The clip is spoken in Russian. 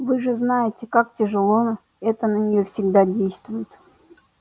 вы же знаете как тяжело это на неё всегда действует